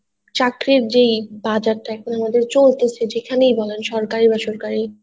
চাকরির যে বাজার টা এখন আমাদের চলতেছে যেখানেই বলেন সরকারি বেসরকারি